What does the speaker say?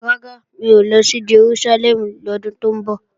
Rárá, n ò ní lọ sí Jerúsálẹ́mù lọ́dún tó ń bọ̀